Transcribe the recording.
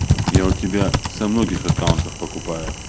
я у тебя со многих аккаунтах покупаю